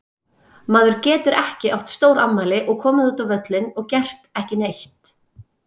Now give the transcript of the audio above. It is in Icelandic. Maður getur ekki átt stórafmæli og komið út á völlinn og gert ekki neitt.